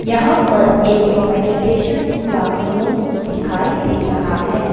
यहां पर एक मेडिटेशन क्लासरूम दिखाई दे रहा है।